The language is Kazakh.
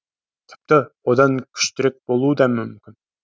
тіпті одан күштірек болуы да мүмкін